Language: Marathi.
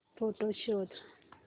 फोटोझ शोध